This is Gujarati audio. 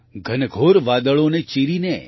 ઘનઘોર વાદળોને ચીરીને